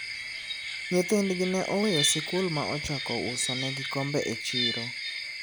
nyithindgi ne oweyo sikul ma ochako uso negi kombe e chiro